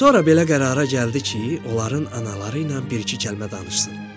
Sonra belə qərara gəldi ki, onların anaları ilə bir-iki kəlmə danışsın.